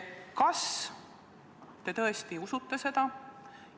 Kas te tõesti usute seda?